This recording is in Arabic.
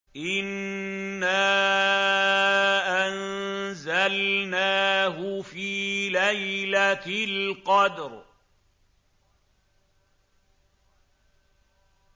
إِنَّا أَنزَلْنَاهُ فِي لَيْلَةِ الْقَدْرِ